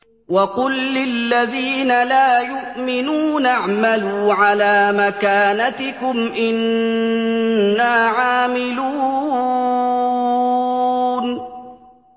وَقُل لِّلَّذِينَ لَا يُؤْمِنُونَ اعْمَلُوا عَلَىٰ مَكَانَتِكُمْ إِنَّا عَامِلُونَ